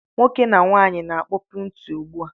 Nwoke na nwaanyị na-akpopu ntị ụgbụ a